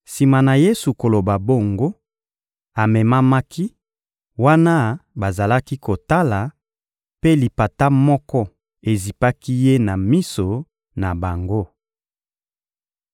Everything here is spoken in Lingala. Sima na Yesu koloba bongo, amemamaki, wana bazalaki kotala, mpe lipata moko ezipaki Ye na miso na bango.